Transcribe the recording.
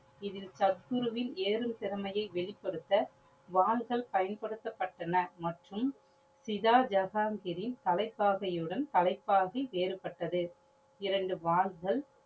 இதில் சத்குருவின் ஏறும் திறமையை வெளிபடுத்த வாள்கள் பயன்படுத்த பட்டன. மற்றும் சிதா ஜகான்கிரின் தலைபாகையுடன் தலைபாகை வேறுபட்டது. இரண்டு வாள்கள்